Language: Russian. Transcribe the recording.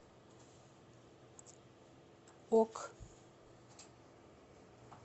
ок